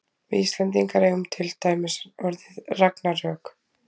við íslendingar eigum til dæmis orðið ragnarök